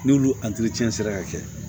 N'olu sera ka kɛ